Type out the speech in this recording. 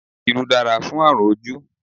Irú dára fún àrùn ojú